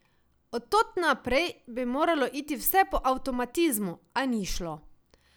Od tod naprej bi moralo iti vse po avtomatizmu, a ni šlo.